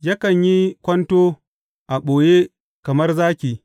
Yakan yi kwanto a ɓoye kamar zaki.